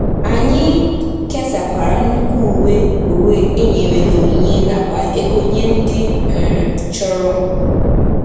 Anyị kesakwara nnukwu uwe uwe e nyere n’onyinye nakwa ego nye ndị um chọrọ.